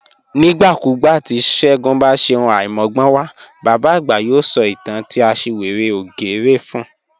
Nigbakugba ti Segun ba ṣe ohun aimọgbọnwa, baba agba yoo sọ itan ti aṣiwere ògérè fun